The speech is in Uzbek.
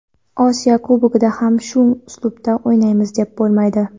Osiyo Kubogida ham shu uslubda o‘ynaymiz deb bo‘lmaydi.